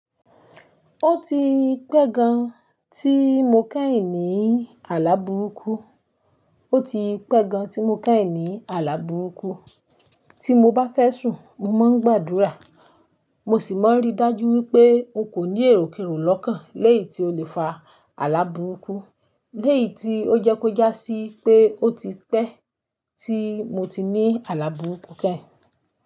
Ó ti pẹ́ gan tí mo kẹ́hìn ní àlá burúkú, ó ti pẹ́ gan tí mo kẹ́hìn ní àlá burúkú. Tí mo bá fẹ́ sùn mo máa ń gbàdúrà, mo sì máa ń rí dájú wípé n kò ní èròkerò lọ́kàn lẹ́yìn tí o lè fa àlá burúkú. Lẹ́yì tí ó jẹ́ kó já sí pé ó ti pẹ́ tí mo ti ní àlá burúkú kẹ́hìn.